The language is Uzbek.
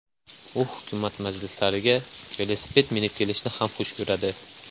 U hukumat majlislariga velosiped minib kelishni ham xush ko‘radi .